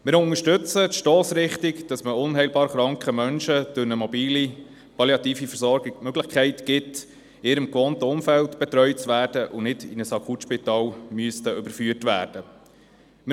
Wir unterstützen die Stossrichtung, wonach man unheilbar kranken Menschen durch eine mobile palliative Versorgung die Möglichkeit gibt, in ihrem gewohnten Umfeld betreut zu werden und nicht in ein Akutspital überführt werden zu müssen.